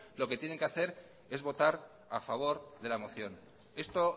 lo que tienen que hacer es votar a favor de la moción esto